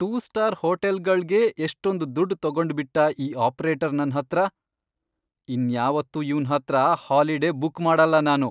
Two star ಹೋಟೆಲ್ಗಳ್ಗೇ ಎಷ್ಟೊಂದ್ ದುಡ್ಡ್ ತಗೊಂಡ್ಬಿಟ್ಟ ಈ ಆಪ್ರೇಟರ್ ನನ್ಹತ್ರ! ಇನ್ಯಾವತ್ತೂ ಇವ್ನ್ ಹತ್ರ ಹಾಲಿಡೇ ಬುಕ್ ಮಾಡಲ್ಲ ನಾನು.